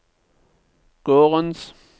gårdens